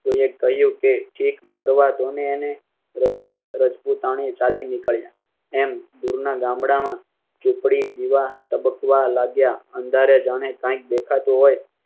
તો એ કહ્યું કે ચીક મરવા ધોની ને રજપૂત રજપૂતાણી ચાલી નીકળ્યાં એમ દૂર ના ગામડામાં ઝુપડી દિવા તબકવા લાગ્યા. અંધારે જાણે કાંઈક દેખા તો હોય